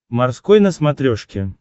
морской на смотрешке